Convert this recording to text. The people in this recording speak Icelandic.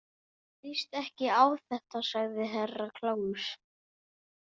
Mér líst ekki á þetta, sagði Herra Kláus.